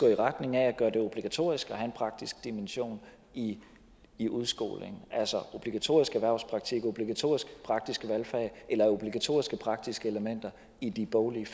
i retning af at gøre det obligatorisk at have en praktisk dimension i i udskolingen altså obligatorisk erhvervspraktik obligatoriske praktiske valgfag eller obligatoriske praktiske elementer i de boglige